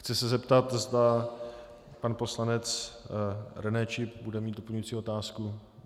Chci se zeptat, zda pan poslanec René Čip bude mít doplňující otázku.